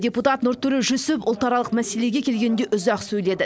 депутат нұртөре жүсіп ұлтаралық мәселеге келгенде үзақ сөйледі